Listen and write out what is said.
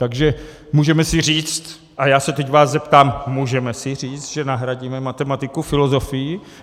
Takže můžeme si říct - a já se teď vás zeptám: Můžeme si říct, že nahradíme matematiku filozofií?